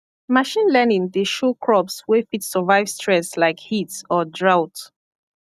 machine learning dey show crops wey fit survive stress like heat or drought